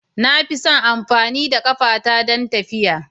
Na fi son amfani da ƙafata don tafiya.